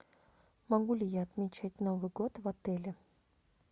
могу ли я отмечать новый год в отеле